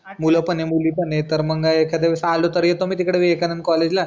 मुलं पण आहे मुली पण आहे. एखाद्या वेळीस आलो तर येतो मी तिकडं विवेकानंद कॉलेजला